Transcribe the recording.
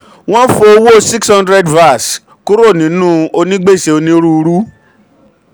wọ́n fo owó six hundred vas kúrò nínú onígbèsè onírúurú.